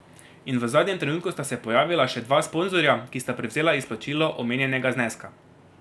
In v zadnjem trenutku sta se pojavila še dva sponzorja, ki sta prevzela izplačilo omenjenega zneska.